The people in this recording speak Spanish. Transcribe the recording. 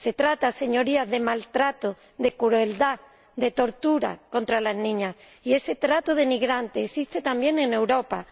Se trata, señorías, de maltrato, de crueldad, de tortura contra las niñas, y ese trato denigrante existe también en Europa.